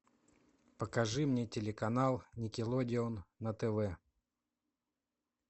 покажи мне телеканал никелодеон на тв